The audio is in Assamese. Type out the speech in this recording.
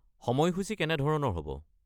সময়সূচি কেনেধৰণৰ হ’ব?